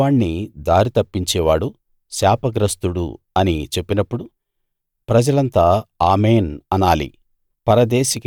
గుడ్డివాణ్ణి దారి తప్పించేవాడు శాపగ్రస్తుడు అని చెప్పినప్పుడు ప్రజలంతా ఆమేన్‌ అనాలి